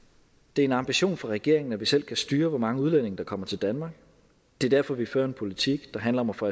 det er en ambition for regeringen at vi selv kan styre hvor mange udlændinge der kommer til danmark det er derfor vi fører en politik der handler om at få